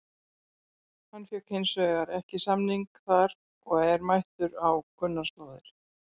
Hann fékk hins vegar ekki samning þar og er mættur á kunnar slóðir.